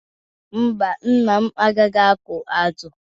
Mba, nna m agaghị akụ azụ.